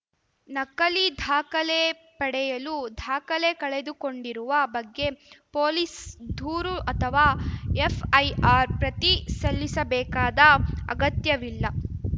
ನಕಲಿ ದಾಖಲೆ ಪಡೆಯಲು ದಾಖಲೆ ಕಳೆದುಕೊಂಡಿರುವ ಬಗ್ಗೆ ಪೊಲೀಸ್‌ ದೂರು ಅಥವಾ ಎಫ್‌ಐಆರ್‌ ಪ್ರತಿ ಸಲ್ಲಿಸಬೇಕಾದ ಅಗತ್ಯವಿಲ್ಲ